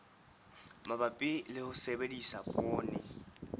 mabapi le ho sebedisa poone